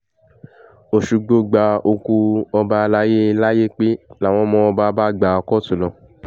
òṣùgbò gba òkú ọba alayé làyépé làwọn ọmọ ọba bá gbá kóòtù lọ